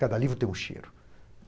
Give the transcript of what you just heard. Cada livro tem um cheiro.